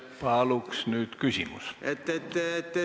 Paluks nüüd küsimust!